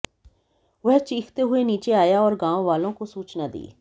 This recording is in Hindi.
वह चीखते हुए नीचे आया और गांव वालों को सूचना दी